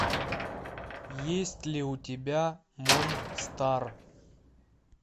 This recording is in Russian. есть ли у тебя монстар